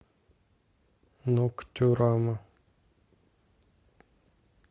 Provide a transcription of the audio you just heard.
ноктюрама